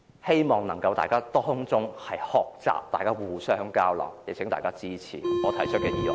希望大家能從中學習，互相交流，請大家支持我提出的議案。